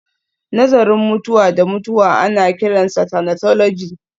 Nazarin mutuwa da mutuwa ana kiransa thanatology